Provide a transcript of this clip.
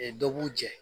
dɔ b'u jɛn